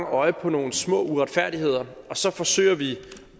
øje på nogle små uretfærdigheder og så forsøger vi